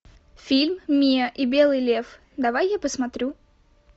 фильм миа и белый лев давай я посмотрю